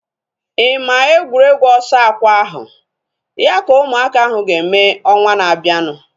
Ị maa egwuregwu ọsọ akwa ahu? Ya ka ụmụaka ahu ga-eme ọnwa na-abianu